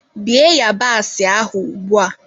Bie yabasị ahụ ugbua!